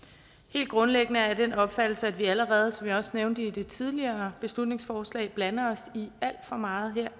helt grundlæggende er jeg af den opfattelse at vi allerede som jeg også nævnte ved det tidligere beslutningsforslag blander os i alt for meget